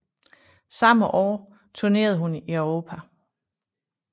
Samme år turnerede hun i Europa